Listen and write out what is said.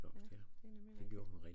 Ja det er nemlig rigtigt